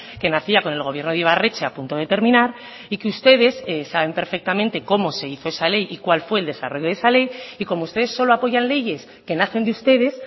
que nacía con el gobierno de ibarretxe a punto de terminar y que ustedes saben perfectamente cómo se hizo esa ley y cuál fue el desarrollo de esa ley y como ustedes solo apoyan leyes que nacen de ustedes